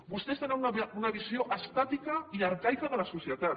vostès tenen una visió estàtica i arcaica de la societat